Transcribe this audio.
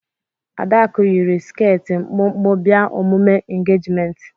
Adaku yiri skẹti mkpụmkpụ bịa omume engejimenti.